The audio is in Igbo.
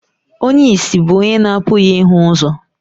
Onye ìsì bụ onye na-apụghị ịhụ ụzọ.